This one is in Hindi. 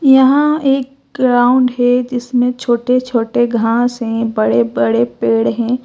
यहां एक ग्राउंड है जिसमें छोटे छोटे घास हैं बड़े बड़े पेड़ हैं।